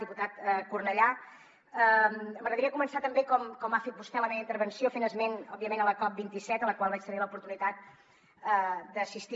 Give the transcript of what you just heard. diputat cornellà m’agradaria començar també com ha fet vostè la meva intervenció fent esment òbviament de la cop27 a la qual vaig tenir l’oportunitat d’assistir